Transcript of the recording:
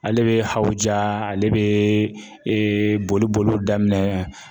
Ale bɛ hawuja ale bɛ boli boliw daminɛ.